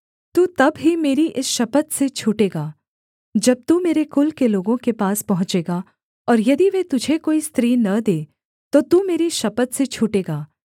तू तब ही मेरी इस शपथ से छूटेगा जब तू मेरे कुल के लोगों के पास पहुँचेगा और यदि वे तुझे कोई स्त्री न दें तो तू मेरी शपथ से छूटेगा